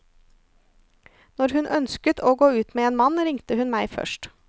Når hun ønsket å gå ut med en mann ringte hun meg først.